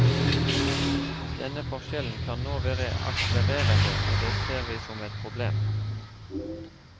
Denne forskjellen kan nå være akselererende, og det ser vi som et problem.